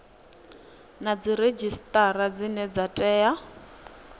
na dziredzhisitara dzine dza tea